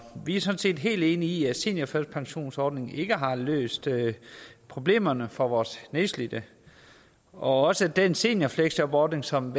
vi er sådan set helt enige i at seniorførtidspensionsordningen ikke har løst problemerne for vores nedslidte og også at den seniorfleksjobordning som